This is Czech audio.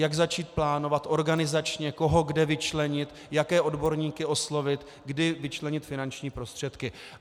Jak začít plánovat, organizačně, koho kde vyčlenit, jaké odborníky oslovit, kdy vyčlenit finanční prostředky.